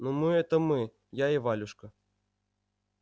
ну мы это мы я и валюшка